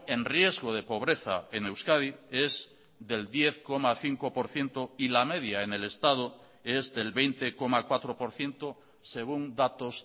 en riesgo de pobreza en euskadi es del diez coma cinco por ciento y la media en el estado es del veinte coma cuatro por ciento según datos